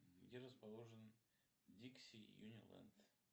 где расположен дикси юниленд